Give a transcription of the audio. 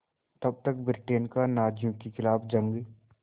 तब तक ब्रिटेन का नाज़ियों के ख़िलाफ़ जंग